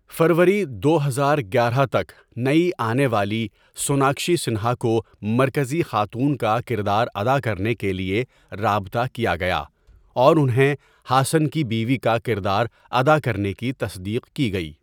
فروری دو ہزار گیارہ تک، نئی آنے والی سوناکشی سنہا کو مرکزی خاتون کا کردار ادا کرنے کے لیے رابطہ کیا گیا اور انہیں ہاسن کی بیوی کا کردار ادا کرنے کی تصدیق کی گئی۔